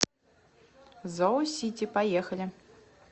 зоосити поехали